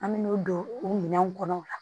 An me n'u don o minɛnw kɔnɔ o la